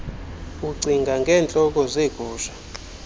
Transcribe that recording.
ucinga ngeentloko zeegusha